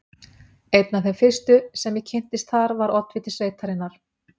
Einn af þeim fyrstu, sem ég kynntist þar, var oddviti sveitarinnar